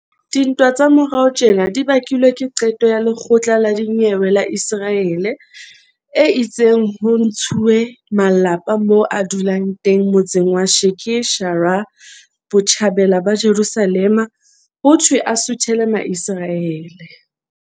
Dintwa tsa morao tjena di bakilwe ke qeto ya lekgotla la dinyewe la Iseraele e itseng ho ntshuwe malapa moo a dulang teng motseng wa Sheikh Jarrah, Botjhabela ba Jerusalema, hothwe a suthele Maiseraele.